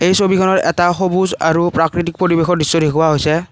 এই ছবিখনত এটা সবুজ আৰু প্ৰাকৃতিক পৰিৱেশৰ দৃশ্য দেখুওৱা হৈছে।